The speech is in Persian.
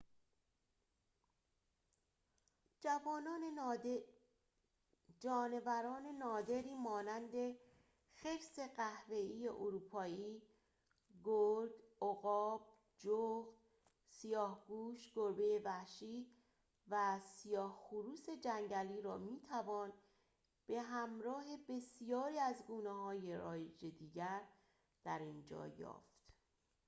جانوران نادری مانند خرس قهوه‌ای اروپایی گرگ عقاب جغد سیاهگوش گربه وحشی و سیاه‌خروس جنگلی را می‌توان به‌همراه بسیاری از گونه‌های رایج دیگر در اینجا یافت